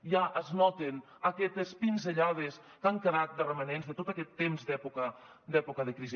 ja es noten aquestes pinzellades que han quedat de romanents de tot aquest temps d’època de crisi